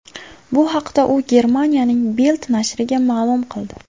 Bu haqda u Germaniyaning Bild nashriga ma’lum qildi .